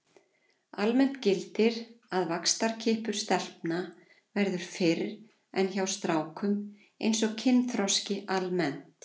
Almennt gildir að vaxtarkippur stelpna verður fyrr en hjá strákum eins og kynþroski almennt.